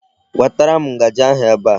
Wetara m ngaji ahụ ebe a.